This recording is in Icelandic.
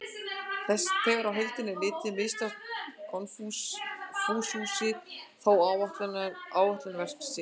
Þegar á heildina er litið mistókst Konfúsíusi þó ætlunarverk sitt.